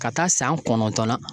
Ka taa san kɔnɔntɔn na.